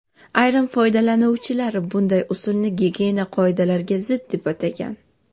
Ayrim foydalanuvchilar bunday usulni gigiyena qoidalariga zid, deb atagan.